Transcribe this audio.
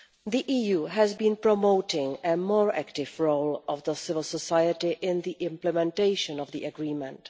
The EU has been promoting a more active role for civil society in the implementation of the Agreement.